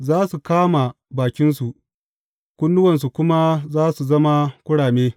Za su kama bakinsu kunnuwansu kuma za su zama kurame.